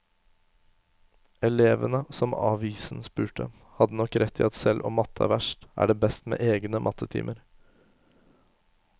Elevene som avisen spurte, hadde nok rett i at selv om matte er verst, er det best med egne mattetimer.